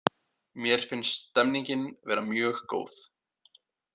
Mér finnst stemningin vera mjög góð